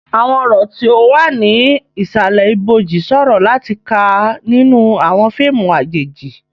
Àwọn ọ̀rọ̀ tí ó wà ní ìsàlẹ̀ ìbòjú ṣòro láti kà nínú àwọn fíìmù àjèjì.